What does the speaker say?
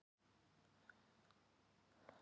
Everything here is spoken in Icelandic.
Við viljum að þú sért vinur okkar.